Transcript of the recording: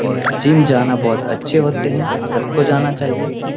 और जिम जाना बहुत अच्छे होते हैं सबको जाना चाहिए ।